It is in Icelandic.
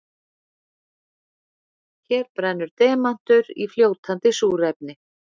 Hér brennur demantur í fljótandi súrefni.